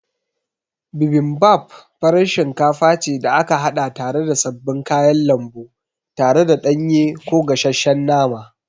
Bibimbap farar shinkafa ce da aka haɗa tare da sabbin kayan lambu tare da ɗanye ko gashesshen nama.